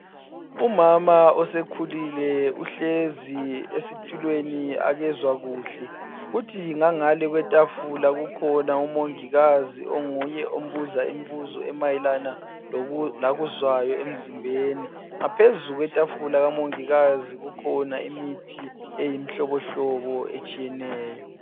Umama osekhulile uhlezi esitulweni akezwa kuhle kuthi ngangale kwetafula kukhona umongikazi onguye ombuza imibuzo emayelana lokuzwayo emzimbeni ngaphezu kwetafula likamongikazi obona imithi etshiyetshiyeneyo.